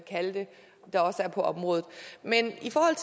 kalde det der også er på området men i forhold